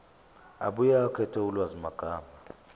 abuye akhethe ulwazimagama